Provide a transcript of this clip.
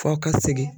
Fɔ ka segin